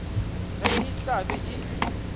ge e tla be e